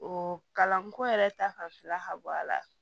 O kalanko yɛrɛ ta fan fila ka bɔ a la